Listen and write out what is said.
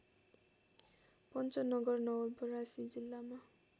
पन्चनगर नवलपरासी जिल्लामा